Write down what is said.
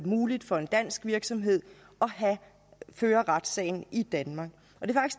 muligt for en dansk virksomhed at føre retssagen i danmark